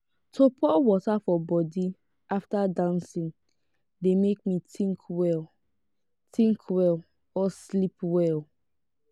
to pour water for body after dancing de make me think well think well or sleep well